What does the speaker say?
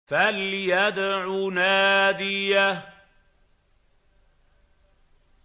فَلْيَدْعُ نَادِيَهُ